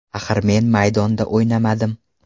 Axir men maydonda o‘ynamadim.